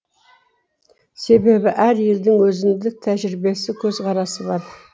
себебі әр елдің өзіндік тәжірибесі көзқарасы бар